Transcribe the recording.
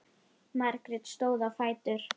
Margrét stóð á fætur.